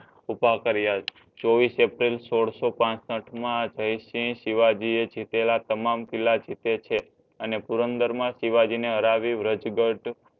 ઉભાકર્ય ચોવીસ એપ્રિલ સોલસોપાસઠ મા જયસિંઘ શિવજી એ જીતેલા તમામ કિલ્લા જીતે છે અને પુરંદર મા શિવજી ને હરવ્યું વ્રજગઢ